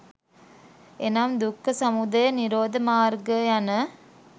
එනම් දුක්ඛ, සමුදය නිරෝධ මාර්ග යන